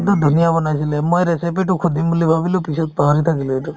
ধুনীয়া বনাইছিলে মই recipe তো সুধিম বুলি ভাবিলো পিছত পাহৰি থাকিলো এইটো